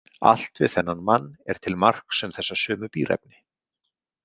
Allt við þennan mann er til marks um þessa sömu bíræfni.